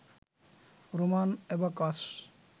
Roman abacus